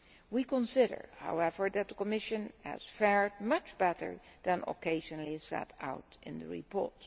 We consider, however, that the Commission has fared much better than occasionally set out in the report.